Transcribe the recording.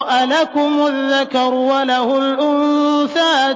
أَلَكُمُ الذَّكَرُ وَلَهُ الْأُنثَىٰ